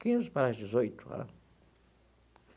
Quinze para as dezoito.